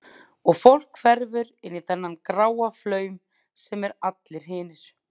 Og fólk hverfur inn í þann gráa flaum sem er allir hinir.